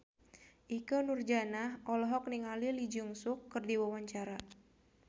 Ikke Nurjanah olohok ningali Lee Jeong Suk keur diwawancara